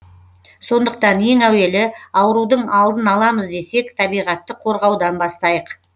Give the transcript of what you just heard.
сондықтан ең әуелі аурудың алдын аламыз десек табиғатты қорғаудан бастайық